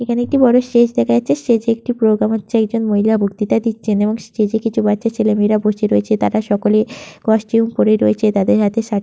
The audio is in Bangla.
এইখানে একটি বড় স্টেজ দেখা যাচ্ছে স্টেজে একটি প্রোগ্রাম হচ্ছে একজন মহিলা বক্তিতা দিচ্ছে এবং স্টেজে কিছু বাচ্চা ছেলেমেয়েরা বসে রয়েছে তারা সকলে কস্টিউম পরে রয়েছে তাদের হাতে--